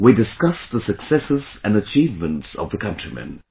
We discussed the successes and achievements of the countrymen